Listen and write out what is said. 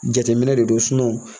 Jateminɛ de don